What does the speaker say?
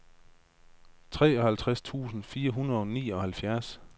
treoghalvtreds tusind fire hundrede og nioghalvfjerds